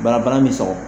Banabaa min sɔgɔ